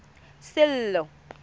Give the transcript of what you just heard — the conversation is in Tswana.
sello